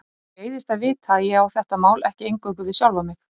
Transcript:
Þýskir kaupmenn höfðu selt vöru sína í Básendum og keypt þar fisk.